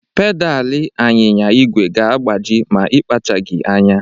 Pedalị anyịnya igwe ga-agbaji ma ịkpachaghị anya.